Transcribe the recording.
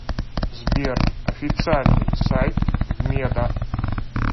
сбер официальный сайт вмеда